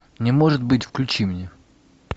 не может быть включи мне